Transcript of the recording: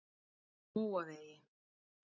Móavegi